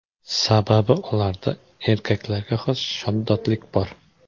Sababi ularda erkaklarga xos shaddodlik bor.